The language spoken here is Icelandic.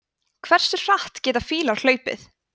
hversu hratt geta fílar hlaupið